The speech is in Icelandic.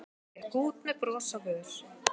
Gekk út með bros á vör.